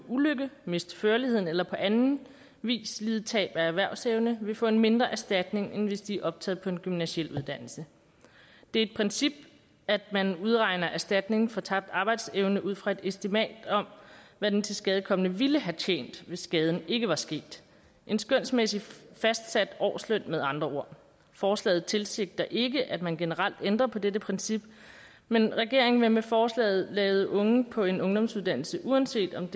ulykke miste førligheden eller på anden vis lide tab af erhvervsevne vil få en mindre erstatning end hvis de er optaget på en gymnasial uddannelse det er et princip at man udregner erstatning for tabt arbejdsevne ud fra et estimat om hvad den tilskadekomne ville have tjent hvis skaden ikke var sket en skønsmæssig fastsat årsløn med andre ord forslaget tilsigter ikke at man generelt ændrer på dette princip men regeringen vil med forslaget lade unge på en ungdomsuddannelse uanset om